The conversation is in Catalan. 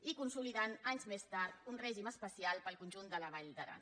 i consolidar anys més tard un règim especial per al conjunt de la vall d’aran